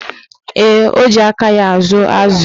Ee, o ji aka ya ázụ̀ ázụ̀.